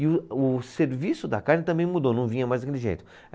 E o, o serviço da carne também mudou, não vinha mais daquele jeito.